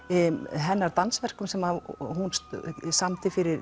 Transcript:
hennar dansverkum sem hún samdi fyrir